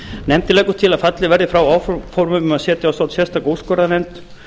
nefndin leggur til að fallið verði frá áformum um að setja á stofn sérstaka úrskurðarnefnd